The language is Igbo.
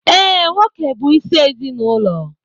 Ee, nwoke bụ isi ezinụlọ